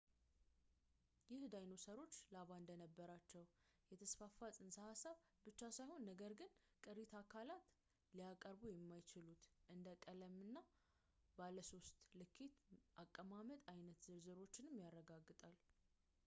ይህ ዳይኖሰሮች ላባ እንደነበራቸው የተስፋፋ ጽንሰ ሃሳብ ብቻ ሳይሆን ነገር ግን ቅሪት አካላት ሊያቀርቡ የማይችሉትን እንደ ቀለም እና ባለ ሶስት ልኬት አቀማመጥ አይነት ዝርዝሮችንም ያረጋግጣል